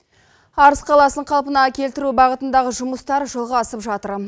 арыс қаласын қалпына келтіру бағытындағы жұмыстар жалғасып жатыр